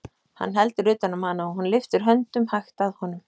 Hann heldur utan um hana og hún lyftir höndum hægt að honum.